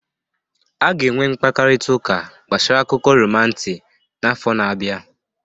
A ga-enwe mkparịta ụka gbasara akụkọ romanti n'afọ na-abịa